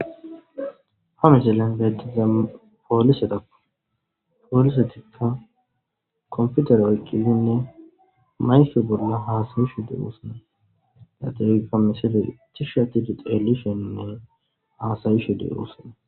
ha misillen bettiza oieapoolisetikka komfutere oyqqilinne mayfe bolla haasayishu deewoosna yaxegga misile tishatidi xeelisheinne haasayishu dewosona